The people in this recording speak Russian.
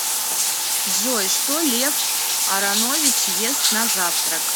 джой что лев аронович ест на завтрак